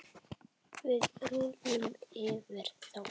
Við rúllum yfir þá!